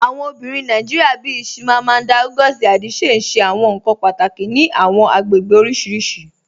Awọn obìnrin Nàìjíríà bíì Chimamanda Ngozi Adichie n ṣẹ awọn nkan pátákì ní àwọn agbègbè oríṣiríṣì.